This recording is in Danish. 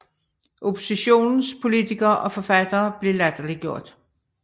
Oppositionens politikere og forfattere blev latterliggjort